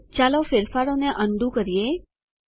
ચાલો ફેરફારોને undo જેવા હતા તેવા કરીએ